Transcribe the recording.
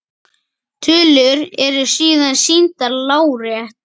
Tölur eru síðan sýndar lárétt.